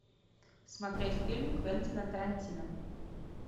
смотреть фильм квентина тарантино